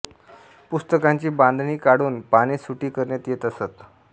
पुस्तकांची बांधणी काढून पाने सुटी करण्यात येत असत